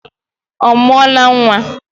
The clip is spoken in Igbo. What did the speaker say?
Ọ mụọla nwa?